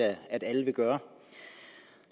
at alle vil gøre